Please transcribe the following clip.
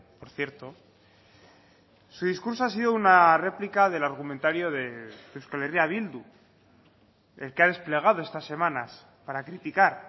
por cierto su discurso ha sido una réplica del argumentario de euskal herria bildu el que ha desplegado estas semanas para criticar